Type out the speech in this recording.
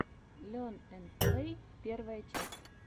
лерн энд плэй первая часть